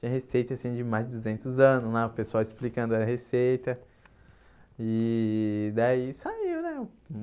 tem receita assim de mais de duzentos anos lá, o pessoal explicando a receita e daí saiu, né?